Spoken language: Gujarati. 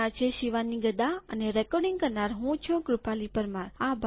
આઇઆઇટી બોમ્બે તરફથી હું શિવાની ગડા વિદાય લઉં છુંઅભાર